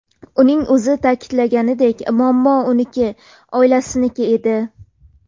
Uning o‘zi ta’kidlaganidek, muammo uniki, oilasiniki edi.